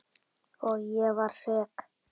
Og ég var sek.